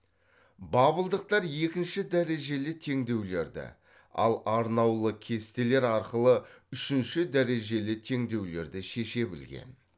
бабылдықтар екінші дәрежелі теңдеулерді ал арнаулы кестелер арқылы үшінші дәрежелі теңдеулерді шеше білген